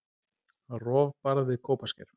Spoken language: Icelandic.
Rofbarð við Kópasker.